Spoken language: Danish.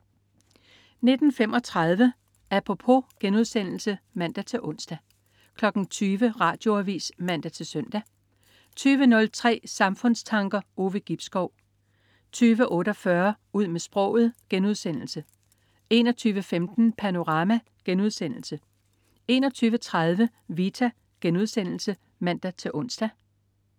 19.35 Apropos* (man-ons) 20.00 Radioavis (man-søn) 20.03 Samfundstanker. Ove Gibskov 20.48 Ud med sproget* 21.15 Panorama* 21.30 Vita* (man-ons)